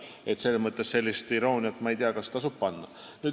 Nii et ma ei tea, kas sellist irooniat tasub panna.